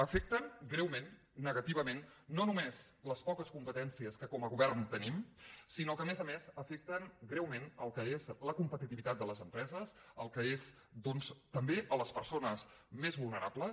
afecten greument negativament no no·més les poques competències que com a govern te·nim sinó que a més a més afecten greument el que és la competitivitat de les empreses també les persones més vulnerables